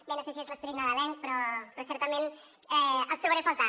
bé no sé si és l’esperit nadalenc però certament els trobaré a faltar